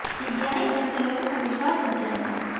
CBI पर से लोगों का विश्वास उठ जाएगा